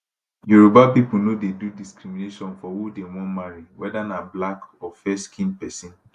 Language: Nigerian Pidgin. yoruba pipo no dey do discrimination for who dem wan marry weda na black or fairskinned pesin